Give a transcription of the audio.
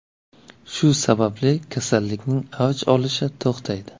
Shu sababli kasallikning avj olishi to‘xtaydi.